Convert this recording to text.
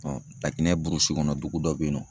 Laginɛ burusi kɔnɔ dugu dɔ bɛ yen nɔ.